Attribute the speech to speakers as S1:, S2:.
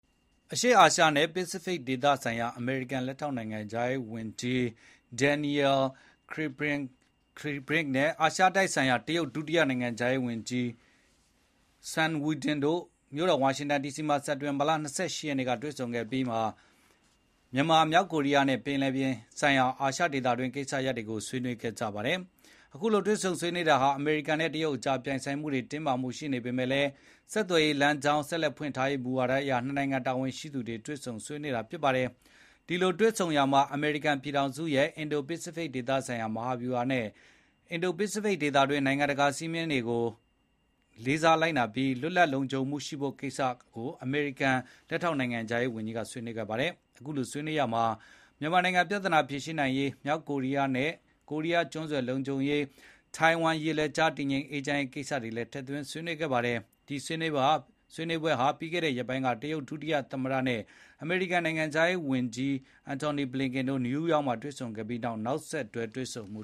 S1: အရှေ့အာရှနဲ့ ပစ္စဖိတ်ဒေသဆိုင်ရာ အမေရိကန်လက်ထောက်နိုင်ငံခြားရေးဝန်ကြီး Daniel J Kritenbrink နဲ့ အာရှတိုက်ဆိုင်ရာ တရုတ်ဒုတိယနိုင်ငံခြားရေးဝန်ကြီး Sun Weidong တို့ မြို့တော်ဝါရှင်တန်ဒီစီမှာ စက်တင်ဘာလ ၂၈ ရက်နေ့ကတွေ့ဆုံခဲ့ပြီး မြန်မာ၊ မြောက်ကိုရီးယားနဲ့ ပင်လယ်ပြင်ဆိုင်ရာ အာရှဒေသတွင်းကကိစ္စရပ်တွေကိုဆွေးနွေး ခဲ့ကြပါတယ်။ အခုလို တွေ့ဆုံဆွေးနွေးတာဟာ အမေရိကန်နဲ့ တရုတ်အကြား ပြိုင်ဆိုင်မှုတွေ၊ တင်းမာမှုတွေ ရှိနေပေမယ့်လည်း ဆက်သွယ်ရေးလမ်းကြောင်း ဆက်လက် ဖွင့်လှစ်ထားရေး မူဝါဒအရ နှစ်နိုင်ငံတာဝန်ရှိသူတွေ တွေ့ဆုံဆွေးနွေးကြတာ ဖြစ်ပါတယ်။ ဒီလိုတွေ့ဆုံရာမှာ အမေရိကန်ပြည်ထောင်စုရဲ့ အင်ဒိုပစ္စဖိတ်ဒေသဆိုင်ရာ မဟာဗျူဟာနဲ့ အင်ဒိုပစ္စဖိတ်ဒေသတွင်း နိုင်ငံတကာစည်းမျဉ်းဥပဒေတွေကိုလေးစားလိုက်နာပြီး လွတ်လပ်လုံခြုံမှုရှိဖို့ကိစ္စရပ်တွေကို အမေရိကန်လက်ထောက် နိုင်ငံခြားရေးဝန်ကြီးကဆွေးနွေးခဲ့ပါတယ်။ အခုလိုဆွေးနွေးရာမှာ မြန်မာနိုင်ငံပြဿနာ ဖြေရှင်းနိုင်ရေး၊ မြောက်ကိုရီးယားနဲ့ ကိုရီးယားကျွန်းဆွယ်လုံခြုံရေး၊ ထိုင်ဝမ် ရေလက်ကြား တည်ငြိမ်အေးချမ်းရေး ကိစ္စရပ်တွေကိုလည်း ဆွေးနွေးခဲ့ပါတယ်။ ဒီဆွေးနွေးပွဲဟာ ပြီးခဲ့တဲ့ရက်ပိုင်းက တရုတ်ဒုတိယသမ္မတ Han Zheng နဲ့ အမေရိကန်နိုင်ငံခြားရေးဝန်ကြီး Antony Blinken တို့ နယူးယောက်မှာ တွေ့ဆုံခဲ့ပြီးနေက် နောက်ဆက်တွဲ တွေ့ဆုံမှု